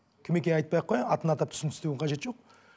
кім екенін айтпай ақ қояйын атын атап түсін түстеудің қажеті жоқ